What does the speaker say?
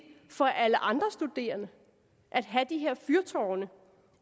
for alle andre studerende at have de her fyrtårne